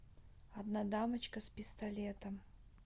одна дамочка с пистолетом